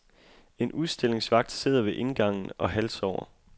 En udstillingsvagt sidder ved indgangen og halvsover.